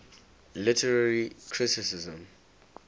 literary criticism